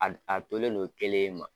A a tolen no kelen in ma.